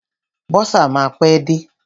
Bọ́sà máa pẹ́ dé.